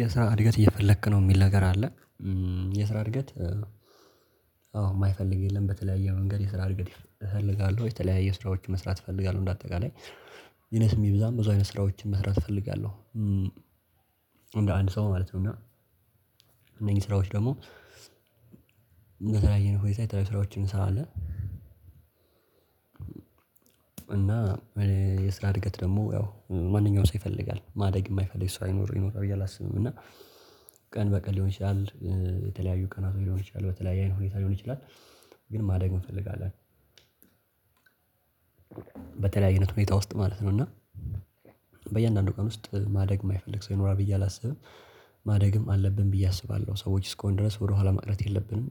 የስራ እድገት እየፈለክ ነው የሚል ነገር አለ? የስራ እድገት አዎ የማይፈልግ የለም። በተለያየ መንገድ የስራ እድገት እፈልጋለሁ የተለያየ ስራዎች መስራት እፈልጋለሁ እንደ አጠቃላይ ይነስም ይብዛም ብዙ አይነት ስራዎችን መስራት እፈልጋለሁ። እንደአንድ ሰው ማለት ነው እና እነኝህ ስራዎች ደግሞ በተለያየ ሁኔታ የተለያየ ስራዎችን እንሰራለን። እና የስራ እድገት ደግሞ ያው ማንኛውም ሰው ይፈልጋል ማደግ የማይፈልግ ሰው አይኖር ይኖር ብዬ አላስብም። እና ቀን በቀን ሊሆን ይችላል የተለያዩ ቀናት ሊሆን ይችላል በተለያዩ አይነት ሁኔታ ሊሆን ይችላል ግን ማደግ እንፈልጋለን። በተለያዬ አይነት ሁኔታ ውስጥ ማለት ነው እና በእያንዳንዱ ቀን ውስጥ ማደግ የማይፈልግ ሰው ይኖራል ብዬ አላስብም። ማደግም አለብኝ ብዬ አስባለሁ ሰዎች እስከሆነን ድረስ ወደኋላ ማቅረት የለብንም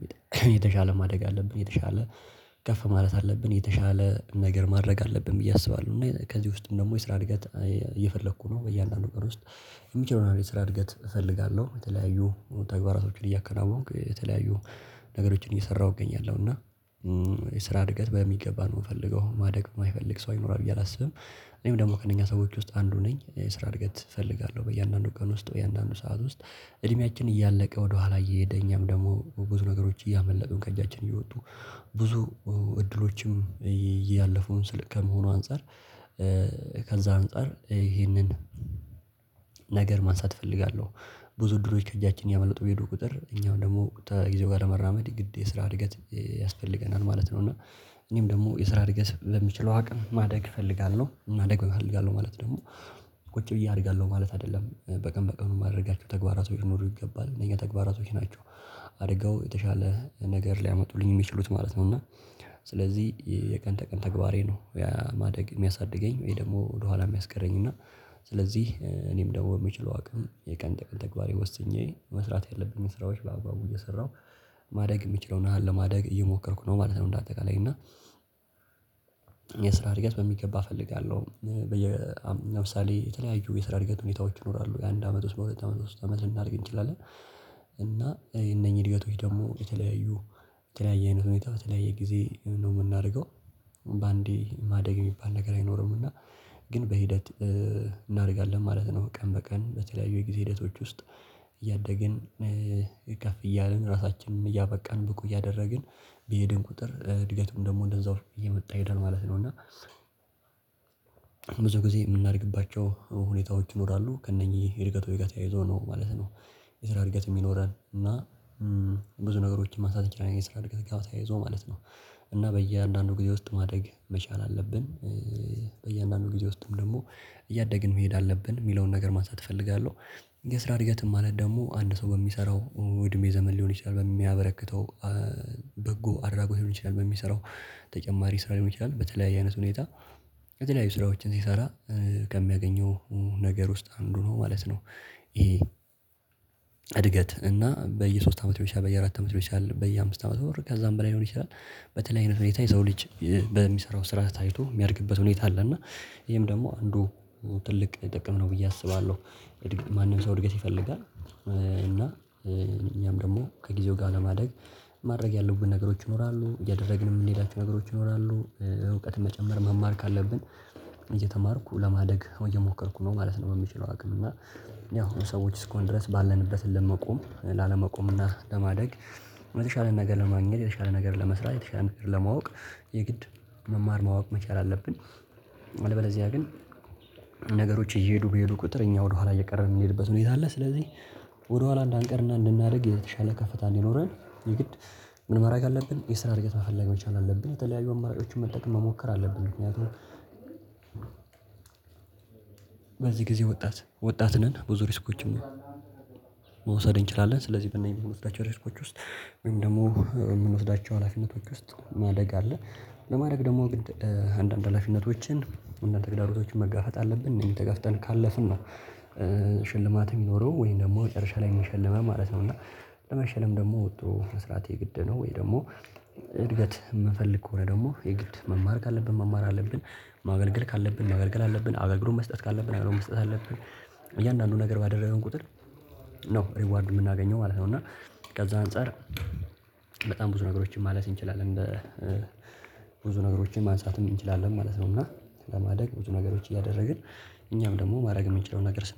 የተሻለ ማደግ አለብን የተሻለ ከፍ ማለት አለብን የተሻለ ነገር ማድረግ አለብን ብዬ አስባለሁ። እና ከዚህ ውስጥም ደግሞ የስራ እድገት እየፈለኩ ነው በእያንዳንዱ ቀን ውስጥ የሚችለው ነው የሰራ እድገት እፈልጋለሁ። የተለያዩ ተግባራቶችን እያከናወንክ የተለያዩ ነገሮችን እየሰራሁ እገኛለሁ እና የስራ እድገት በሚገባ ነው የምፈልገው ማደግ የማይፈልግ ሰው አይኖርም ብዬ አላስብም። እኔም ደግሞ ከእነኛ ሰዎች ውስጥ አንዱ ነኝ ስራ እድገት እፈልጋለሁ በእያንዳንዱ ቀን ውስጥ የእያንዳንዱ ሰዓት ውስጥ እድሜያችን እያለቀ ወደኋላ እየሄደ እኛም ደግሞ ብዙ ነገሮች እያመለጡ ከእጃችን እየወጡ። ብዙ እድሎችም እያለፉ ትልቅ ከመሆኑ አንፃር ከዛ አንፃር ይህንን ነገር ማንሳት እፈልጋለሁ። ብዙ እድሎች ከእጃችን እያመለጡ በሄዱ በቁጥር እኛም ደግሞ ተጊዜው ጋር ለመራመድ ግድ የስራ እድገት ያስፈልገናል ማለት ነው። እና እኔም ደግሞ የስራ እድገት በምችለው አቅም ማደግ እፈልጋለሁ። ማደግ እፈልጋለሁ ማለት ደግሞ ቁጭ ብዬ አድርጋለሁ ማለት አይደለም በቀን በቀን ማድረጋችሁ ተግባራቶች ሊኖሩ ይገባል እነዚህ ተግባራቶች ናቸው። አድርገው የተሻለ ነገር ሊያመጡልኝ የሚችሉት ማለት ነው እና ስለዚህ የቀን ተቀን ተግባሬ ነው። ማደግ የሚያሳድገኝ ወይ ደግሞ ወደኋላ የሚያስቀረኝ እና ስለዚህ እኔም ደግሞ የምችለው አቅም የቀን ተቀን ተግባሬ ወስኜ መስራት ያለብኝ ስራዎች በአገባቡ እየሰራሁ ማደግ የሚችለውን ያህል ለማደግ እየሞከርኩ ነው ማለት ነው። እንደ አጠቃላይ እና የስራ እድገት በሚገባ እፈልጋለሁ በየ አም ለምሳሌ የተለያዩ የስራ እድገት ሁኔታዎች ይኖራሉ የአንድ አመት ውስጥ በሁለት አመት ውስጥ አመት ልናደርግ እንችላለን። እና እነኚህ እድገቶች ደግሞ የተለያዩ የተለያየ አይነት ሁኔታ በተለያየ ጊዜ ነው የምናደርገው። በአንዴ ማደግ የሚባል ነገር አይኖርምና ግን በሂደት እናደርጋለን ማለት ነው። ቀን በቀን በተለያዩ የጊዜ ሂደቶች ውስጥ እያደግን ከፍ እያልን ራሳችንን እያበቃን ብቁ እያደረግን በሄደን ቁጥር እድገቱም ደግሞ እንደዛው እየመጣ ይሄዳል ማለት ነው። እና ብዙ ጊዜ የምናደርግባቸው ሁኔታዎች ይኖራሉ ከእነኚህ እድገት ወይ ጋር ተያይዞ ነው ማለት ነው። የስራ እድገት የሚኖረን እና ብዙ ነገሮችን ማንሳት እንችላለን የሰራ እድገት ጋር ተያይዞ ማለት ነው። እና በእያንዳንዱ ጊዜ ውስጥ ማደግ መቻል አለብን በእያንዳንዱ ጊዜ ውስጥም ደግሞ እያደገን መሄድ አለብን የምለውን ነገር ማንሳት እፈልጋለሁ። የስራ እድገትም ማለት ደግሞ አንድ ሰው በሚሰራው እድሜ ዘመን ሊሆን ይችላል በሚያበረክተው በጎ አድራጎት ሊሆን ይችላል በሚሰራው ተጨማሪ ስራ ሊሆን ይችላል በተለያየ አይነት ሁኔታ የተለያዩ ስራዎችን ሲሰራ ከሚያገኘው ነገር ውስጥ አንዱ ነው ማለት ነው። ይሄ እድገት እና በየሶስት አመት ልሆን ይችላል በየአራት አመት ልሆን ይችላል በየአምስት አመት ኦር ከዛም በላይ ሊሆን ይችላል። በተለይ አይነት ሁኔታ የሰው ልጅ በሚሰራው ስራ ታይቶ የሚያድግበት ሁኔታ አለ እና ይሄም ደግሞ አንዱ ትልቅ ጥቅም ነው ብዬ አስባለሁ። ማንም ሰው እድገት ይፈልጋል እና እኛም ደግሞ ከጊዜው ጋር ለማደግ ማድረግ ያለብን ነገሮች ይኖራሉ ያደረግንም የምንሄዳቸው ነገሮች ይኖራሉ እውቀት መጨመር መማር ካለብን እየተማርኩ ለማደግ እየሞከርኩ ነው ማለት ነው። የምችለው አቅም እና ያው ሰዎች እስኮን ድረስ ባለንበት ለመቆም ላለመቆምና ለማደግ የተሻለ ነገር ለማግኘት የተሻለ ነገር ለመስራት የተሻለ ነገር ለማወቅ የግድ መማር ማወቅ መቻል አለብን። አለበለዚያ ግን ነገሮች እየሄዱ በሄዱ ቁጥር እኛ ወደኋላ እየቀረበ የምንሄድበት ነው ሁኔታ አለ። ስለዚህ ወደኋላ እንዳንቀርና እንድናደርግ የተሻለ ከፍታ እንዲኖረን የግድ ምን ማድረግ አለብን የስራ እድገት መፈለግ መቻል አለብን? የተለያዩ አማራጮችን መጠቀም መሞከር አለብን። ምክንያቱም በዚህ ጊዜ ወጣት ወጣት ነን። ብዙ ሪስኮችም መውሰድ እንችላለን ስለዚህ በእነኚህ የምንወስዳቸው ሬስኮች ውስጥ ወይም ደግሞ የምንወስዳቸው ሀላፊነቶች ውስጥ ማደግ አለ። ለማድረግ ደግሞ ግድ አንዳንድ ሀላፊነቶችን እና ተግዳሮቶችን መጋፋት አለብን እነኚህን ተጋፍተን ካለፍን ነው ሽልማት የሚኖረው ወይም ደግሞ መጨረሻ ላይ የሚሸልመው ማለት ነው። እና ለመሸለም ደግሞ ወጥሮ መስራት የግድ ነው። ወይ ደግሞ እድገት የምፈልግ ከሆነ ደግሞ የግድ መማር ካለብን መማር አለብን። ማገልገል ካለብን ማገልገል አለብን አገልግሎት መስጠት ካለብን አገልግሎት መስጠት አለብን። እያንዳንዱ ነገር ባደረገን ቁጥር ነው ሪዋርድ የምናገኘው ማለት ነው። እና ከዛ አንፃር በጣም ብዙ ነገሮችን ማለት እንችላለን። ብዙ ነገሮችን ማንሳት እንችላለን ማለት ነው። እና ለማደግ ብዙ ነገሮች እያደረግን እኛም ደግሞ ማድረግ የምንችለው ነገር ስናደርግ